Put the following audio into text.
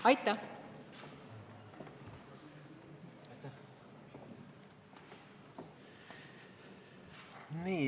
Aitäh!